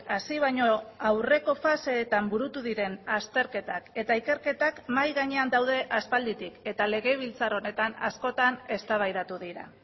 hasi baino aurreko faseetan burutu diren azterketak eta ikerketak mahai gainean daude aspalditik eta legebiltzar honetan askotan eztabaidatu dira